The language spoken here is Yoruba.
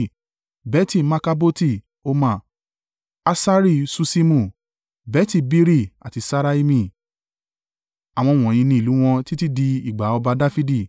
Beti-Markaboti Hormah; Hasari Susimu, Beti-Biri àti Ṣaraimi. Àwọn wọ̀nyí ni ìlú wọn títí di ìgbà ọba Dafidi,